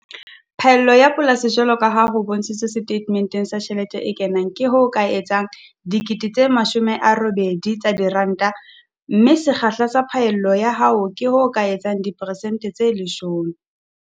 Phaello ya polasi jwalo ka ha ho bontshitswe setatementeng sa tjhelete e kenang, ke ho ka etsang R80 000, mme sekgahla sa phaello ya hao ke ho ka etsang diperesente tse 10.